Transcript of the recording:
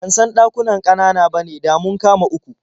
Ban san ɗakunan ƙanana bane, da mun kama uku.